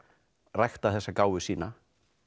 rækta þessa gáfu sína